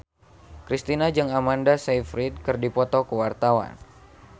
Kristina jeung Amanda Sayfried keur dipoto ku wartawan